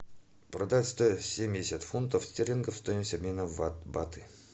продать сто семьдесят фунтов стерлингов стоимость обмена в баты